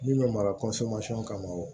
Min bɛ mara kama o